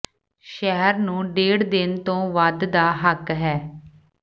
ਸ਼ਹਿਰ ਨੂੰ ਡੇਢ ਦਿਨ ਤੋਂ ਵੱਧ ਦਾ ਹੱਕ ਹੈ